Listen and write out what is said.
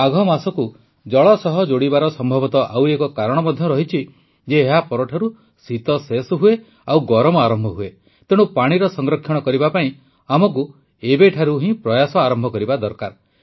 ମାଘ ମାସକୁ ଜଳ ସହ ଯୋଡ଼ିବାର ସମ୍ଭବତଃ ଆଉ ଏକ କାରଣ ମଧ୍ୟ ରହିଛି ଯେ ଏହା ପରଠାରୁ ଶୀତ ଶେଷ ହୁଏ ଆଉ ଗରମ ଆରମ୍ଭ ହୁଏ ତେଣୁ ପାଣିର ସଂରକ୍ଷଣ କରିବା ପାଇଁ ଆମକୁ ଏବେଠାରୁ ହିଁ ପ୍ରୟାସ ଆରମ୍ଭ କରିବା ଦରକାର